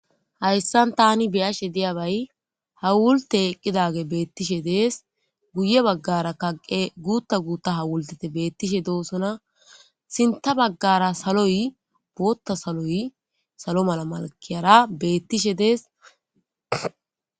Hayssan taani be7ashe diyabay hawultte eqqidagey beettishe dees. Guye baggaarakaa qe guutta gutta hawultteti beettishe doosona. Sintta baggaara saloy bootta saloy salo mala malkkiyara beettishe dees.